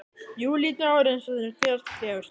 Júlídagur eins og þeir gerast fegurstir.